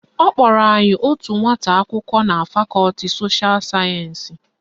Ọ kpọrọ anyị otu nwata akwụkwọ na fakọti sosha sayensị